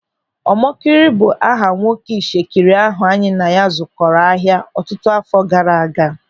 Ọmọkịrị bụ aha nwoke Ishekiri ahụ anyị na ya zụkọrọ ahịa ọtụtụ àfọ́ gaara aga.